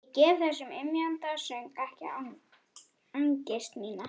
Ég gef þessum ymjandi söng ekki angist mína.